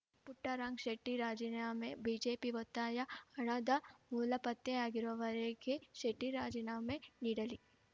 ಪುಟ್ಟರಂಗ ಶೆಟ್ಟಿರಾಜೀನಾಮೆಗೆ ಬಿಜೆಪಿ ಒತ್ತಾಯ ಹಣದ ಮೂಲ ಪತ್ತೆಯಾಗುವವರೆಗೆ ಶೆಟ್ಟಿರಾಜೀನಾಮೆ ನೀಡಲಿ